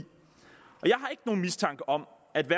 og mistanke om at den